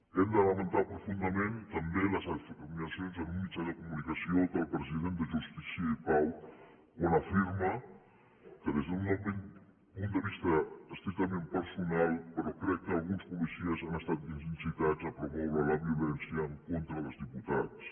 hem de lamentar profundament també les afirma cions en un mitjà de comunicació del president de jus tícia i pau quan afirma que des d’un punt de vista estrictament personal però crec que alguns policies han estat incitats a promoure la violència en contra dels diputats